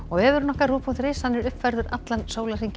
vefurinn ruv punktur is uppfærður allan sólarhringinn